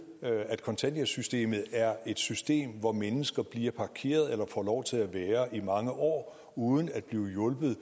at kontanthjælpssystemet er et system hvor mennesker bliver parkeret eller får lov til at være i mange år uden at blive hjulpet